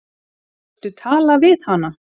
Viltu tala við hana?